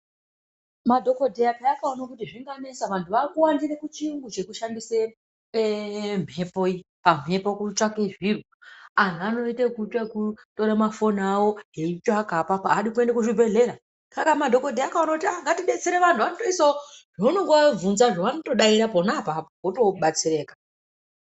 Madhogodheya peya akaona kuti zvinganesa vantu vaakuwandire kuchiyungu chekushandise mhepo iyi. Pamhepo kutsvake zviro. Anhu anoite yekutore mafoni awo aitsvaka apapo, haadi kuende kuzvibhehlera. Saka madhogodheya akaona kuti ah, ngatidetsere vanhu, vanotoisawo zvaunonga wavhunzazvo vanotodaire pona apapo, wotobatsirika.